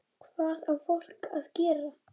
Hvað á fólkið að gera?